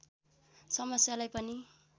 समस्यालाई पनि